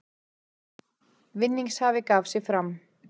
Vinningshafi gaf sig fram